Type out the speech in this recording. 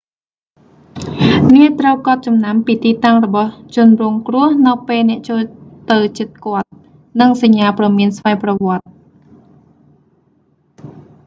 អ្នកត្រូវកត់ចំណាំពីទីតាំងរបស់ជនរងគ្រោះនៅពេលអ្នកចូលទៅជិតគាត់ និងសញ្ញាព្រមានស្វ័យប្រវត្តិ